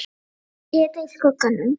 Í þrjátíu stiga hita, í skugganum.